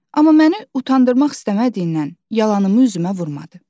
Amma məni utandırmaq istəmədiyindən yalanımı üzümə vurmadı.